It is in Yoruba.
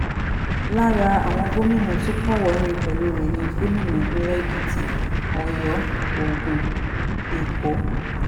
lára àwọn gómìnà tó kọ́wọ̀ọ́rìn pẹ̀lú rẹ̀ ni gómìnà ìpínlẹ̀ èkìtì ọ̀dọ́ ogun èkó